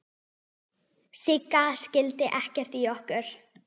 Sigga skildi ekkert í okkur.